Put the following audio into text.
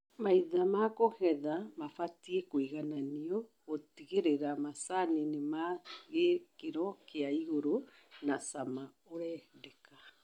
Maitha ma kũgetha mabatie kũigananio gũtigĩrĩra macani ni ma gĩkĩro kia igũru na cama urendekana